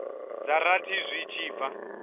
dza rathi zwi tshi bva